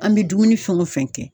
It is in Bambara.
An bɛ dumuni fɛn o fɛn kɛ.